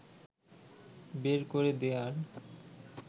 বের করে দেয়ার